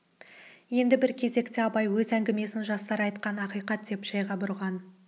енді бір кезекте абай өз әңгімесін жастар айтқан ақиқат деген жайға бұрған